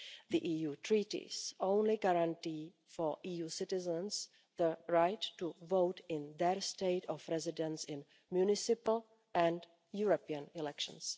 The EU Treaties only guarantee EU citizens the right to vote in their state of residence in municipal and European elections.